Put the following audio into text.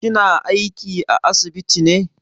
Kina aiki a asibiti ne?